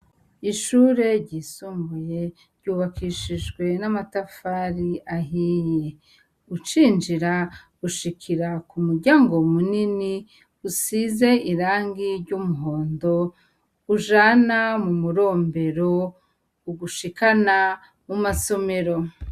Ishure ryisumbuye ry'ubakishijwe n'amatafari ahiye, ucinjira ushikire k'umuryango munini usize irangi ry'umuhondo, ujana m'umurombero ugushikana mu masomero.